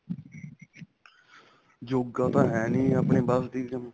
ਯੋਗਾਂ ਤਾਂ ਹੈ ਨਹੀਂ ਆਪਣੀ ਬਸ ਦੀ ਗੱਲ